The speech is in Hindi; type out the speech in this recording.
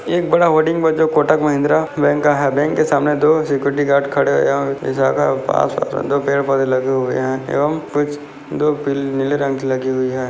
एक बड़ा कोटक महिंद्रा बैंक का है बैंक के सामने दो सेक्युरिटी गार्ड खड़े पास दो पेड़-पौधे लगे हुए है एवम कुछ दो पिल नीले रंग की लगी हुई है।